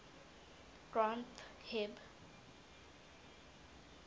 granth hib